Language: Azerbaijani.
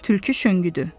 Tülkü şəngüdü.